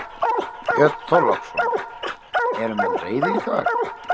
Björn Þorláksson: Eru menn reiðir í dag?